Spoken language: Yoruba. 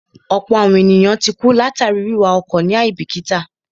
Ọ̀pọ̀ àwọn èèyàn ti kú látàríi wíwa ọkọ̀ ní àíbìkítà